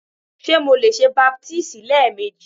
Ṣe Mo le ṣe baptisi lẹẹmeji?